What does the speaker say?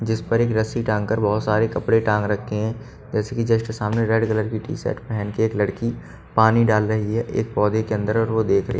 जिस पर एक रस्सी टांग कर बहुत सारे कपड़े टांग रखे हैं जैसे कि जस्ट सामने रेड कलर की टी शर्ट पहन के एक लड़की पानी डाल रही है एक पौधे के अंदर और वो देख रही--